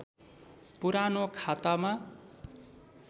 पुरानो खातामा